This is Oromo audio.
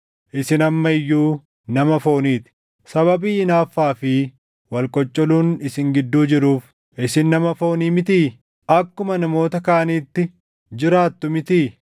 Isin amma iyyuu nama foonii ti. Sababii hinaaffaa fi wal qoccoluun isin gidduu jiruuf isin nama foonii mitii? Akkuma namoota kaaniitti jiraattu mitii?